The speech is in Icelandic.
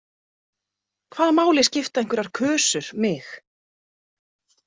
Hvaða máli skipta einhverjar kusur mig?